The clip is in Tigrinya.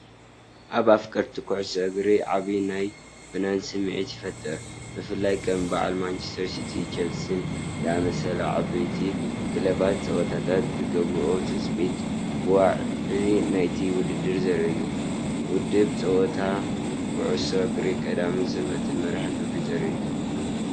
ኣብ ኣፍቀርቲ ኩዕሶ እግሪ ዓቢ ናይ ፍናን ስምዒት ይፈጥር። ብፍላይ ከም በዓል ማንቸስተር ሲቲን ቸልሲን ዝኣመሰላ ዓበይቲ ክለባት ጸወታታት ዝገብርኦ ትጽቢት፡ ዋዒ ናይቲ ውድድር ዘርኢ ኢዩ። መደብ ጸወታታት ኩዕሶ እግሪ ቀዳምን ሰንበትን መርሃ ግብሪ ዘርኢ እዩ።